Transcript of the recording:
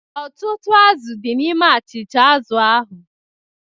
Ọtụtụ azụ̀ di n'ime achịcha azụ̀ ahụ.